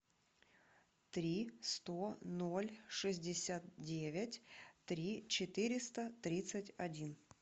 три сто ноль шестьдесят девять три четыреста тридцать один